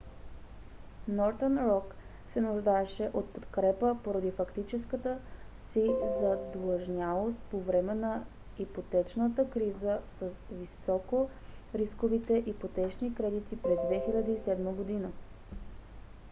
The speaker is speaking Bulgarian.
northern rock се нуждаеше от подкрепа поради фактическата си задлъжнялост по време на ипотечната криза с високорисковите ипотечни кредити през 2007 г